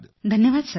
धन्यवाद सर